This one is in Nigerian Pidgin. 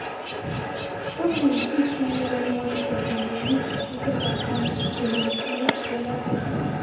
Problem fit dey when one person de use di secret account dey manipulate di oda person